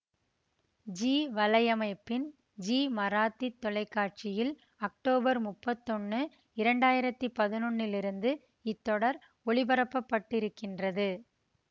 ஜீ வலையமைப்பின் ஜீ மராத்தித் தொலைக்காட்சியில் அக்டோபர் முப்பத்தி ஒன்னு இரண்டாயிரத்தி பதினொன்னிலிருந்து இத்தொடர் ஒளிபரப்பப்பட்டுருக்கின்றது